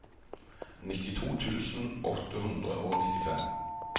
nittito tusen åtte hundre og nittifem